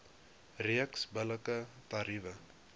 reeks billike tariewe